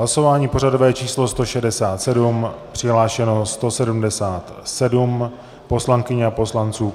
Hlasování pořadové číslo 167 přihlášeno 177 poslankyň a poslanců.